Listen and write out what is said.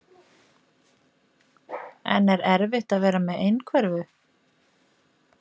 Hrund: En er erfitt að vera með einhverfu?